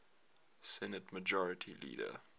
senate majority leader